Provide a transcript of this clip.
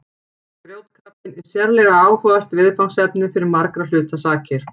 Grjótkrabbinn er sérlega áhugavert viðfangsefni fyrir margra hluta sakir.